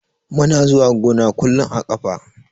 Muna zuwa gona kullun a ƙafa.